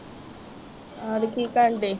ਹੋਰ ਕੀ ਕਰਨ ਦੇ?